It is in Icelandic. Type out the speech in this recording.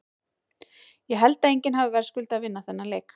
Ég held að enginn hafi verðskuldað að vinna þennan leik.